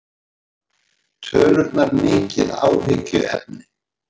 Tölurnar mikið áhyggjuefni